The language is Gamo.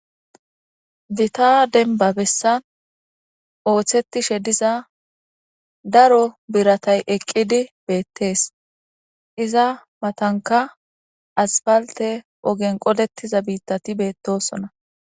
Gitaa denba bessan ooththettishe diza daro biratay eqqidi beettees iza matanka asfalte ogen qodettiza biittati beettosona